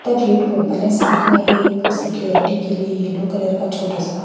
open है साथ में एक सिक्योरिटी के लिए येलो कलर का छोटा सा--